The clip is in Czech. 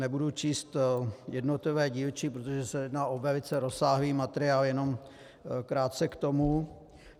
Nebudu číst jednotlivé dílčí, protože se jedná o velice rozsáhlý materiál, jenom krátce k tomu.